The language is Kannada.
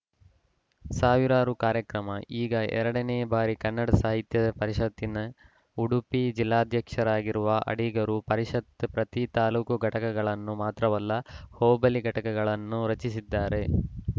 ಸಾವಿರಾರು ಕಾರ್ಯಕ್ರಮ ಈಗ ಎರಡ ನೇ ಬಾರಿ ಕನ್ನಡ ಸಾಹಿತ್ಯ ಪರಿಷತ್ತಿನ ಉಡುಪಿ ಜಿಲ್ಲಾಧ್ಯಕ್ಷರಾಗಿರುವ ಅಡಿಗರು ಪರಿಷತ್ತಿನ ಪ್ರತಿ ತಾಲೂಕು ಘಟಕಗಳನ್ನು ಮಾತ್ರವಲ್ಲ ಹೋಬಳಿ ಘಟಕಗಳನ್ನು ರಚಿಸಿದ್ದಾರೆ